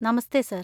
നമസ്തെ sir!